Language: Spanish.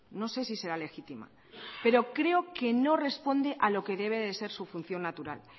no sé si será legítima pero creo que no responde a lo que debe de ser su función natural